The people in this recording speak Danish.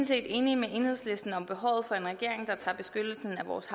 set enige med enhedslisten om behovet for en regering der tager beskyttelse af vores